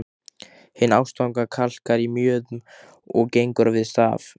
Hin ástfangna kalkar í mjöðm og gengur við staf.